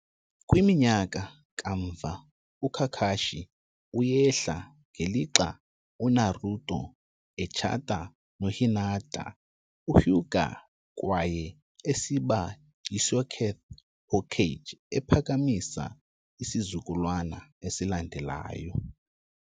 Kwiminyaka kamva, uKakashi uyehla ngelixa uNaruto etshata noHinata Hyuga kwaye esiba yiSeokth Hokage, ephakamisa isizukulwana esilandelayo.